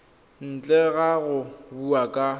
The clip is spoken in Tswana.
ntle ga go bua ka